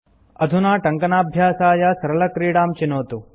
अधुना टङ्कनाभ्यासाय सरलक्रीडां चिनोतु